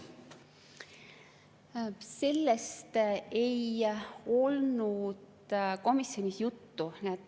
Sellest ei olnud komisjonis juttu.